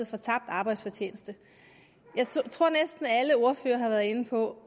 for tabt arbejdsfortjeneste jeg tror at næsten alle ordførere har været inde på